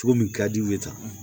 Cogo min ka di u ye tan